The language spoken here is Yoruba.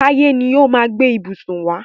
Táyé ni ó máa gbé ìbùsùn wá.